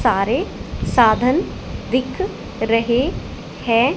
सारे साधन दिख रहे हैं।